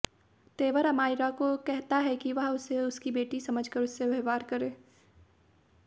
तेवर अमायरा को कहता है कि वह उसे उसकी बेटी समझकर उससे व्यवहार करे